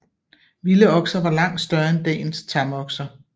Vilde okser var langt større end dagens tamokser